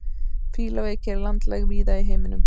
fílaveiki er landlæg víða í heiminum